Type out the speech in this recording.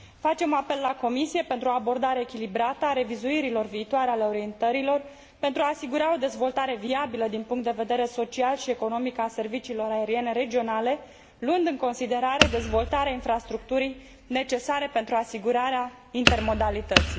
Facem apel la Comisie pentru o abordare echilibrată a revizuirilor viitoare ale orientărilor pentru a asigura o dezvoltare viabilă din punct de vedere social și economic a serviciilor aeriene regionale, luând în considerare dezvoltarea infrastructurii necesare pentru asigurarea intermodalității.